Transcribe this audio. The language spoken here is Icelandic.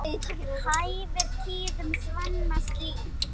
Hæfir tíðum svanna slík.